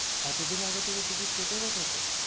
এতো দিন আগে থেকে ticket কেটে রাখাছো?